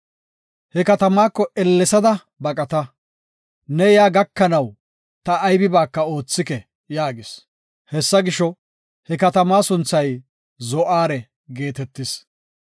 He katamaako ellesada baqata; ne yaa gakanaw ta aybibaaka oothike” yaagis. Hessa gisho, he katamaa sunthay Zo7aare geetetis.